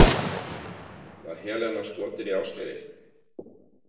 Var Helena skotin í Ásgeiri?